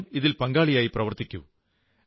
സ്വയം ഇതിൽ പങ്കാളിയായി പ്രവർത്തിക്കൂ